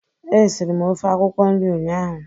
Esiri m ofe akwụkwọ nri ụnyaahụ